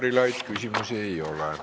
Aitäh, Jaanus Karilaid!